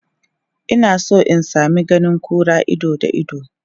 Ina son in sami ganin kura ido da ido.